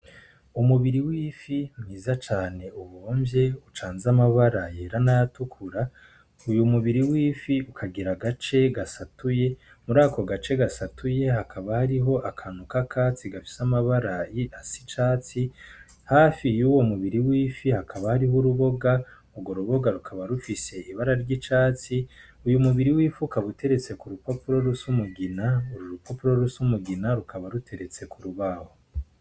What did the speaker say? Umubiri w'ifi mwiza cane uwomvye ucanza amabara yera natukura uyu mubiri wifi ukagira gace gasatuye muri ako gace gasatuye hakaba hariho akantu k'a katsi gafise amabarayi a si icatsi hafi iye uwo mubiri wifi hakaba hariho uruboga ugwo ruboga ukaba rufise ibara ry'icatsi uyu mubiri wifuka buteretse ku rupopuro rusumugina uru rupopuro ruse umugina rukaba ruteretse ku rubaho.